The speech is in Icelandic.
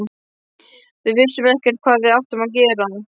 Við vissum ekkert hvað við áttum að gera.